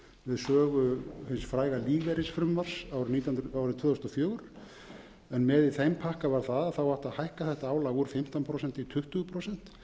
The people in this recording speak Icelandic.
sögu hins fræga lífeyrisfrumvarps árið tvö þúsund og fjögur en með í þeim pakka var það að það átti að hækka þetta álag úr fimmtán prósent í tuttugu prósent